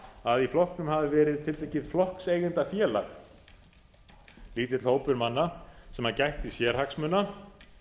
að í flokknum hafi verið tiltekið flokkseigendafélag líta hópur manna sem gætti sérhagsmuna